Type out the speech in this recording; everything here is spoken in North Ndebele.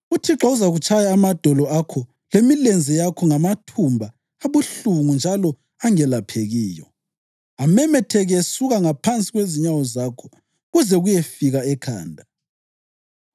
UThixo uzakutshaya amadolo akho lemilenze yakho ngamathumba abuhlungu njalo angelaphekiyo, amemetheke esuka ngaphansi kwezinyawo zakho kuze kuyefika ekhanda.